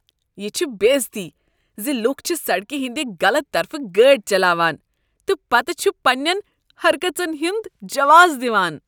یہ چھ بےٚ عزتی ز لوٗکھ چھ سڑکہ ہنٛد غلط طرفہٕ گٲڑۍ چلاوان تہٕ پتہٕ چھ پنٛنٮ۪ن حرکژن ہنٛد جواز دِوان۔